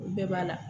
O bɛɛ b'a la